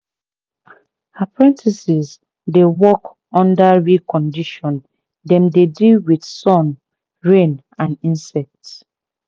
apprentices dey work under real condition dem dey deal with sun rain and insects